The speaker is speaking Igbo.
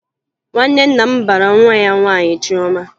Nwanne nna m bara nwa ya nwaanyị Chiọma